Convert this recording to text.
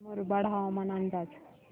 मुरबाड हवामान अंदाज